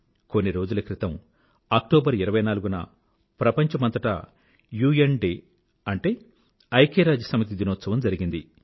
కొన్ని రోజుల క్రితం అక్టోబర్ 24 న ప్రపంచమంతటా యుఎన్ డే అంటే ఐక్యరాజ్యసమితి దినోత్సవం జరిగింది